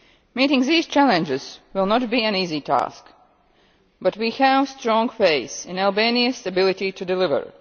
Meeting these challenges will not be an easy task, but we have strong faith in Albania's ability to deliver.